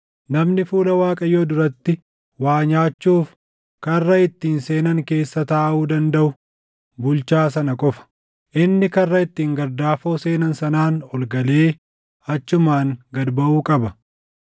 Namni fuula Waaqayyoo duratti waa nyaachuuf karra ittiin seenan keessa taaʼuu dandaʼu bulchaa sana qofa. Inni karra ittiin gardaafoo seenan sanaan ol galee achumaan gad baʼuu qaba.”